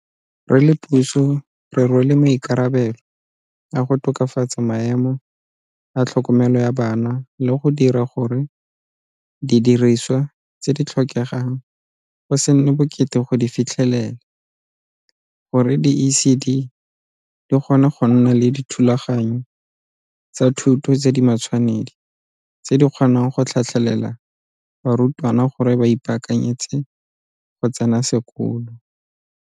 Re le puso re rwele maikarabelo a go tokafatsa maemo a tlhokomelo ya bana le go dira gore didirisiwa tse di tlhokegang go se nne bokete go di fitlhelela gore di-ECD dikgone go nna le dithulaganyo tsa thuto tse di matshwanedi tse di kgonang go tlhatlhelela barutwana gore ba ipaakanyetse go tsena sekolo.